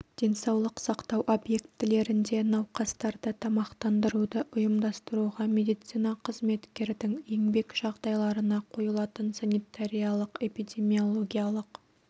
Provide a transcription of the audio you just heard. денсаулық сақтау объектілерінде науқастарды тамақтандыруды ұйымдастыруға медицина қызметкердің еңбек жағдайларына қойылатын санитариялық-эпидемиологиялық